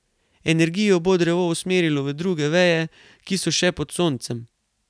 Energijo bo drevo usmerilo v druge veje, ki so še pod soncem.